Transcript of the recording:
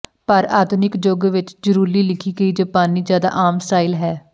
ਪਰ ਆਧੁਨਿਕ ਯੁੱਗ ਵਿਚ ਜ਼ੂਰੀਲੀ ਲਿਖੀ ਗਈ ਜਾਪਾਨੀ ਜ਼ਿਆਦਾ ਆਮ ਸਟਾਈਲ ਹੈ